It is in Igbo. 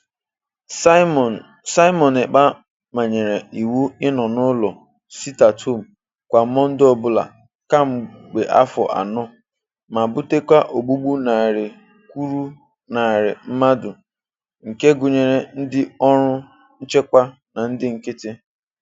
Simon Simon Ekpa manyere iwu ịnọ n'ụlọ (sit-at-home) kwa Mọnde ọbụla kamgbe afọ anọ ma butekwa ogbugbu narị kwuru narị mmadụ nke gụnyere ndị ọrụ nchekwa na ndị nkịtị.